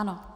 Ano.